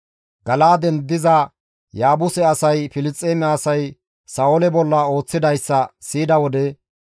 Gala7aaden diza Yaabuse asay Filisxeeme asay Sa7oole bolla ooththidayssa siyida wode,